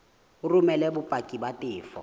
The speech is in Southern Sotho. o romele bopaki ba tefo